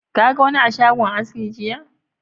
Ka ga wani a shagon aski jiya?